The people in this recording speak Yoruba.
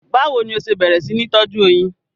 Báwo ni o ṣe bẹ̀rẹ̀ sí ní tọ́jú oyin?